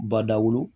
Badawulu